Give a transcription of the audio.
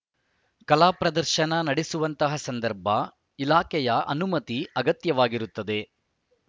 ಕಲಾ ಪ್ರದರ್ಶನ ನಡೆಸುವಂತಹ ಸಂದರ್ಭ ಇಲಾಖೆಯ ಅನುಮತಿ ಅಗತ್ಯವಾಗಿರುತ್ತದೆ